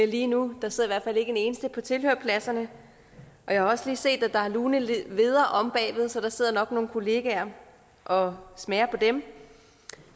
lige nu der sidder ikke en eneste på tilhørerpladserne og jeg har også lige set at der er lune hveder omme bagved så der sidder nok nogle kollegaer og smager på dem